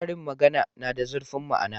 Karin magana na da zurfin ma'ana.